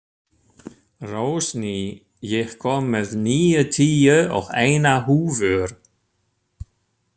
Rósný, ég kom með níutíu og eina húfur!